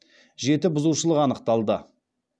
жеті бұзушылық анықталды